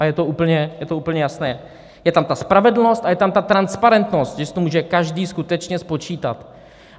A je to úplně jasné, je tam ta spravedlnost a je tam ta transparentnost, že si to může každý skutečně spočítat.